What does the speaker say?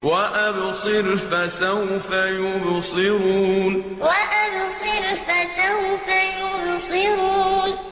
وَأَبْصِرْ فَسَوْفَ يُبْصِرُونَ وَأَبْصِرْ فَسَوْفَ يُبْصِرُونَ